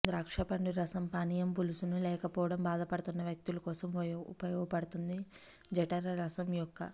ద్రాక్షపండు రసం పానీయం పులుసును లేకపోవడం బాధపడుతున్న వ్యక్తులు కోసం ఉపయోగపడుతుంది జఠర రసము యొక్క